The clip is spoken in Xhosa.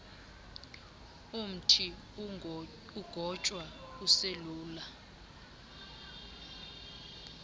umthi ugotywa uselula